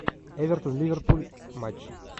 эвертон ливерпуль матч